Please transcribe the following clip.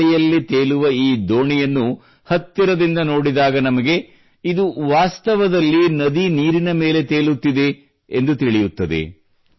ಗಾಳಿಯಲ್ಲಿ ತೇಲುವ ಈ ದೋಣಿಯನ್ನು ಹತ್ತಿರದಿಂದ ನೋಡಿದಾಗ ನಮಗೆ ಇದು ವಾಸ್ತವದಲ್ಲಿ ನದಿ ನೀರಿನ ಮೇಲೆ ತೇಲುತ್ತಿದೆ ಎಂದು ತಿಳಯುತ್ತದೆ